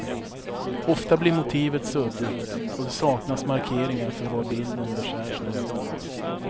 Ofta blir motivet suddigt och det saknas markeringar för var bilden beskärs någonstans.